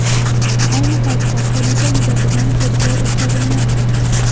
Ayni paytda, hodisa yuzasidan tergov o‘tkazilmoqda.